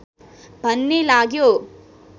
भन्ने लाग्यो